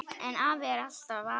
En afi er alltaf afi.